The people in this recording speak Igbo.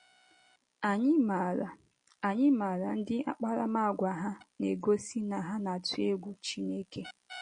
Ànyị maara Ànyị maara ndị akparamàgwà ha na - egosi na ha na - atụ egwu Chineke.